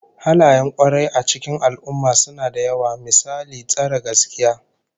Halayen kwarai a cikin al'ummah suna da yawa, misali tsare gaskiya